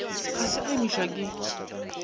ga se a imišwa ke